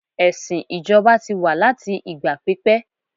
ẹsìn ijoba ti wa láti ìgbà pípé